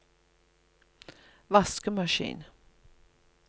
vaskemaskin